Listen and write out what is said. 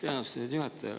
Aitäh, austatud juhataja!